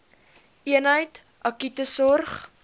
eenheid akute sorg